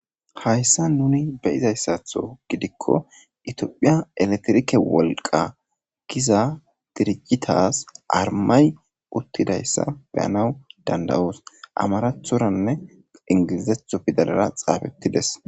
hayssa nuni be'izayssatho gidikko itiophiya eletirike wolqa giza dirijitas armay uttidayssa beyanaw dandawoos amarathoranne ingilizetho pidalara xaafettides